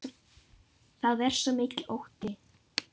Það er svo mikill ótti.